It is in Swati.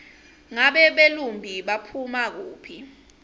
ngabe belumbi baphuma kuphi